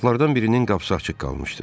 Otaqlardan birinin qapısı açıq qalmışdı.